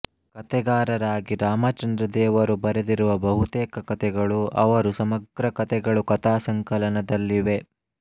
ಕಥೆಗಾರರಾಗಿ ರಾಮಚಂದ್ರದೇವರು ಬರೆದಿರುವ ಬಹುತೇಕ ಕಥೆಗಳು ಅವರು ಸಮಗ್ರ ಕಥೆಗಳು ಕಥಾಸಂಕಲನದಲ್ಲಿವೆ